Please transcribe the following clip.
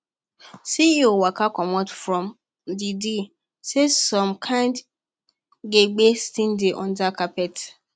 ceo waka comot from the deal say some kind gbege still dey under carpet